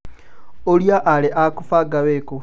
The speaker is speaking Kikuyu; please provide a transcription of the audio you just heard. Ũria aru aku banga wĩkũ